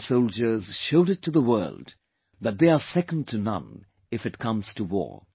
Indian soldiers showed it to the world that they are second to none if it comes to war